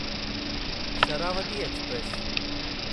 Sharavati express